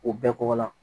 O bɛɛ kɔgɔ la